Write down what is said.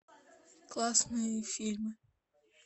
классные фильмы